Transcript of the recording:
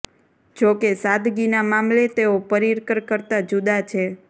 જો કે સાદગીના મામલે તેઓ પર્રિકર કરતા જુદા છે